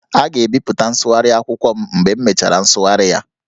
A ga-ebipụta nsụgharị akwụkwọ m mgbe m mechara nsụgharị ya